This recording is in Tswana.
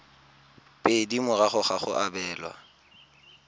pedi morago ga go abelwa